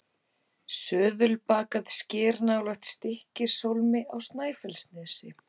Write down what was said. Söðulbakað sker nálægt Stykkishólmi á Snæfellsnesi.